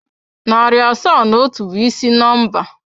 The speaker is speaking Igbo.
Narị asaa na otu bụ ịsị nọmba.